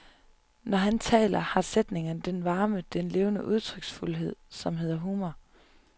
Når han taler, har sætningerne den varme, den levende udtryksfuldhed som hedder humor.